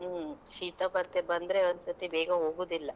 ಹ್ಮ್ ಶೀತ ಮತ್ತೆ ಬಂದ್ರೆ ಒಂದ್ಸತಿ ಬೇಗ ಹೋಗುದಿಲ್ಲ.